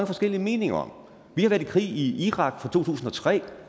forskellige meninger om vi har været i krig i irak fra to tusind og tre